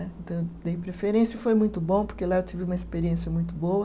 Então, eu dei preferência e foi muito bom, porque lá eu tive uma experiência muito boa.